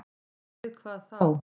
Og við hvað þá?